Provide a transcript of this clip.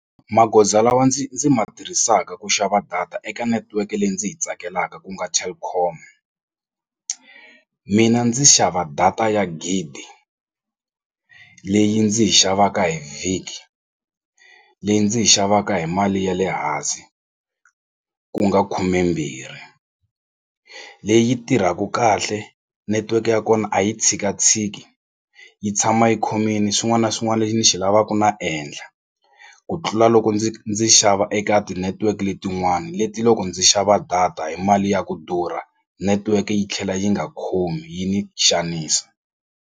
Magoza lawa ndzi ndzi ma tirhisaka ku xava data eka network leyi ndzi yi tsakelaka ku nga Telkom mina ndzi xava data ya gidi leyi ndzi yi xavaka hi vhiki leyi ndzi yi xavaka hi mali ya le hansi ku nga khumembirhi leyi tirhaka kahle netiweke ya kona a yi tshikatshiki yi tshama yi khomini swin'wani na swin'wana lexi ndzi xi lavaku na endla xa ku tlula loko ndzi ndzi xava eka ti-network letin'wani leti loko ndzi xava data hi mali ya ku durha network yi tlhela yi nga khomi yi ni xanisa.